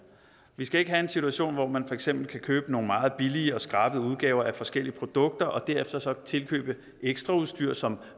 vi skal ikke have en situation hvor man for eksempel kan købe nogle meget billige og skrabede udgaver af forskellige produkter og derefter så tilkøbe ekstraudstyr som